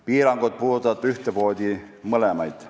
Piirangud puudutavad ühtemoodi mõlemaid.